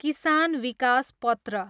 किसान विकास पत्र